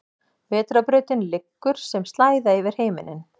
Vetrarbrautin liggur sem slæða yfir himinninn.